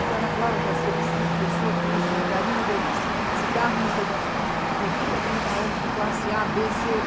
Então ela falava Jací, eu preciso de pessoa que use margarina delícia, cigarro não sei das quantas, de vinte a trinta anos, de classe á, bê, cê ou